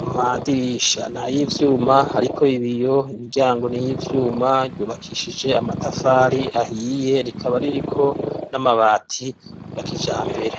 amadirisha nay'ivyuma ariko ibiyo, imiryango ni iy'ivyuma yubakishije. Amatafari ahiye rikaba ririko n'amabati ya kijambere.